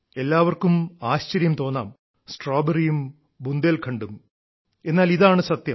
എല്ലാവർക്കും ആശ്ചര്യം തോന്നാം സ്ട്രോബെറിയും ബുന്ദേൽഖണ്ഡും എന്നാൽ ഇതാണ് സത്യം